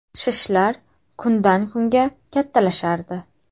Shishlar kundan-kunga kattalashardi.